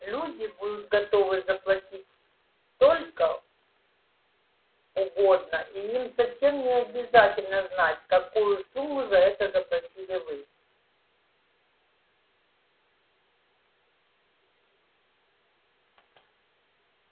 люди будут готовы заплатить столько угодно и им совсем не обязательно знать какую сумму за это заплатили вы